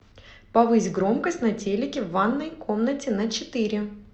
повысь громкость на телике в ванной комнате на четыре